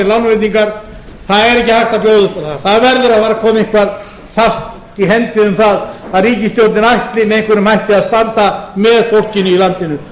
lánveitingar það er ekki hægt að bjóða upp á það það verður að fara að koma eitthvað fast í hendi um það að ríkisstjórnin